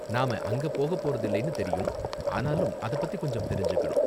நாம அங்க போகப் போறதில்லைனு தெரியும், ஆனாலும் அத பத்தி கொஞ்சம் தெரிஞ்சுக்கணும்.